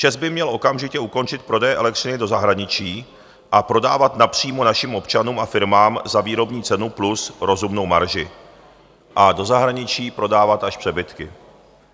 ČEZ by měl okamžitě ukončit prodeje elektřiny do zahraničí a prodávat napřímo našim občanům a firmám za výrobní cenu plus rozumnou marži a do zahraničí prodávat až přebytky.